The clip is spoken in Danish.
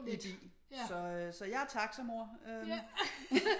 I bil så jeg er taxa mor øh